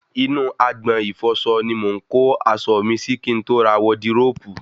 Inú agbọ̀n ìfọsọ ni mò ń kó aṣọ mi sí kí n tó ra wọdiróòbù